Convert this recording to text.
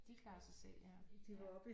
De klarer sig selv ja